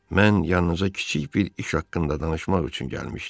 Mən yanınıza kiçik bir iş haqqında danışmaq üçün gəlmişdim.